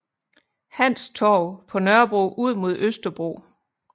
Hans Torv på Nørrebro ud mod Østerbro